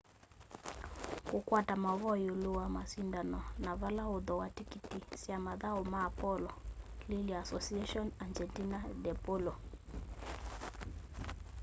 kukwata mauvoo iulu wa masindano na vala ukuthooa tikiti sya mathau ma polo lilya asociacion argentina de polo